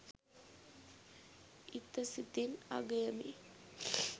ඉත සිතින් අගයමි